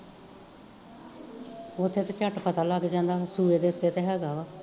ਓਥੇ ਤੇ ਝੱਟ ਪਤਾ ਲੱਗ ਜਾਂਦਾ ਸੂਏ ਦੇ ਉੱਤੇ ਤਾਂ ਹੈਗਾ ਵਾ